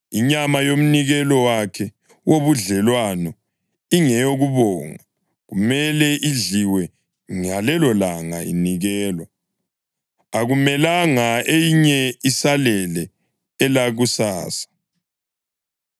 Inyama yomnikelo wakhe wobudlelwano ingeyokubonga, kumele idliwe ngalelolanga inikelwa. Akumelanga eyinye isalele elakusasa.